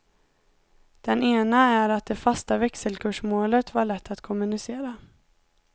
Den ena är att det fasta växelkursmålet var lätt att kommunicera.